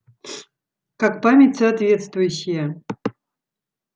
как память соответствующая